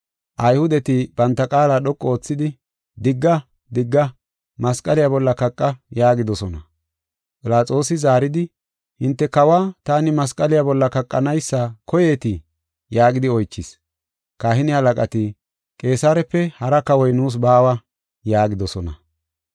Ayhudeti banta qaala dhoqu oothidi, “Digga! Digga! Masqaliya bolla kaqa” yaagidosona. Philaxoosi zaaridi, “Hinte kawa taani masqaliya bolla kaqanaysa koyeetii?” yaagidi oychis. Kahine halaqati, “Qeesarepe hara kawoy nuus baawa” yaagidosona.